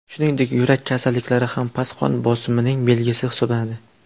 Shuningdek, yurak kasalliklari ham past qon bosimining belgisi hisoblanadi.